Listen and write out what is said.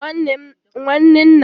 Nwanne nna m kpawara ndị ọbịa ya ọchị